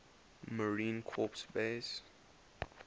marine corps base